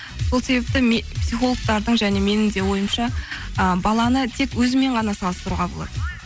сол себепті психологтардың және менің де ойымша ы баланы тек өзімен ғана салыстыруға болады